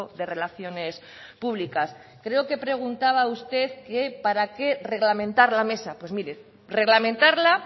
de relaciones públicas creo que preguntaba usted que para qué reglamentar la mesa pues mire reglamentarla